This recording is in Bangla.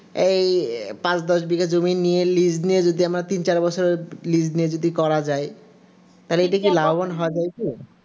এই পাঁচ দশ বছর লীজ নেয় যদি আমরা তিন চার বছর লীজ নিয়ে করা যায় এতে কি লাভবান হওয়া যায় কি